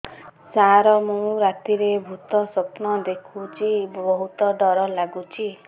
ସାର ମୁ ରାତିରେ ଭୁତ ସ୍ୱପ୍ନ ଦେଖୁଚି ବହୁତ ଡର ଲାଗୁଚି